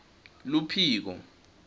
luphiko